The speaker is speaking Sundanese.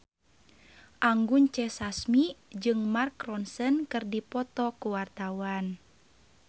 Anggun C. Sasmi jeung Mark Ronson keur dipoto ku wartawan